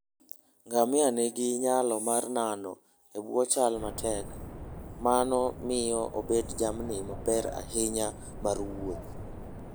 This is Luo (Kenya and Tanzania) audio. ngamia nigi nyalo mar nano e bwo chal matek, mano miyo obedo jamni maber ahinya mar wuoth.